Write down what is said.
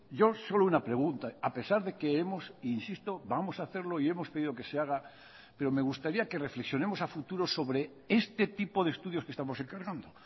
yo solo una pregunta a pesar de que hemos insisto vamos a hacerlo y hemos pedido que se haga pero me gustaría que reflexionemos a futuro sobre este tipo de estudios que estamos encargando